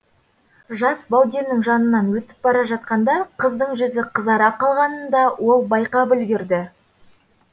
жас бауденнің жанынан өтіп бара жатқанда қыздың жүзі қызара қалғанын да ол байқап үлгірді